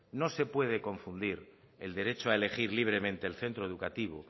no se puede confundir el derecho a elegir libremente el centro educativo